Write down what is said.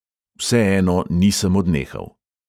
Vseeno nisem odnehal.